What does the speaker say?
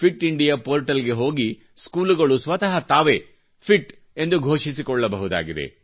fit India ಪೋರ್ಟಲ್ಗೆ ಹೋಗಿ ಸ್ಕೂಲುಗಳು ಸ್ವತ ತಾವೇ ಫಿಟ್ ಎಂದು ಘೋಷಿಸಿಕೊಳ್ಳಬಹುದಾಗಿದೆ